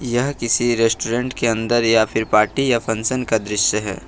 यह किसी रेस्टोरेंट के अन्दर या फिर पार्टी या फंक्शन का दृश्य है।